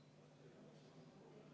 Rene Kokk, palun!